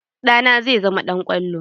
Ɗa na zai zama ɗan ƙwallo.